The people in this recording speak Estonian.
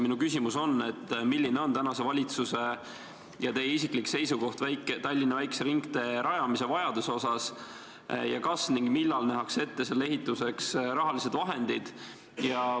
Minu küsimus on järgmine: milline on tänase valitsuse ja teie isiklik seisukoht Tallinna väikese ringtee rajamise vajaduse osas ning kas ja millal nähakse ette selle ehituseks vajalikud rahalised vahendid?